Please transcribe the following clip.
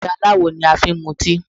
Ife aláwò ni a ma fi ń mu tíì.